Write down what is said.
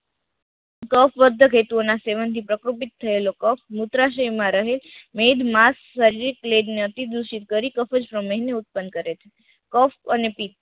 કફ વધ કેતુઓ ના સેવન થી પ્રાકૃતિક થયેલો કફ મૂત્રાશય માં રહે, મેડ માંસ શારીરિક પ્લૅગ અતિ દુષિત કરી કેફીન શ્રમેય મેં ઉત્તપન કરે છે.